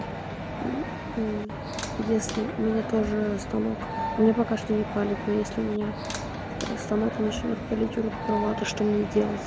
если у меня тоже станок мне пока что не палит но если у меня станок начнёт палить рут права то что мне делать